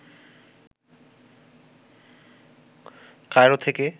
Cairo থেকে